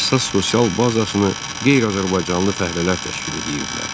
əsas sosial bazasını qeyri-azərbaycanlı fəhlələr təşkil edirdilər.